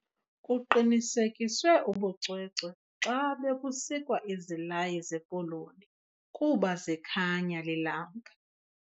Kuqinisekiswe ubucwecwe xa bekusikwa izilayi zepoloni kuba zikhanya ilanga.